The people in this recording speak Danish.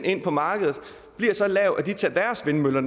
ind på markedet bliver så lav at de tager deres vindmøller